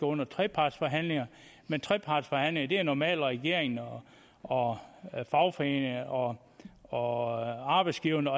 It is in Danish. under trepartsforhandlinger men trepartsforhandlinger er normalt mellem regeringen og fagforeningen og og arbejdsgiverne